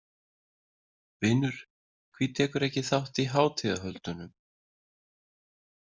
Vinur hví tekurðu ekki þátt í hátíðahöldunum?